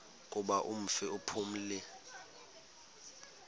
kuba umfi uphumile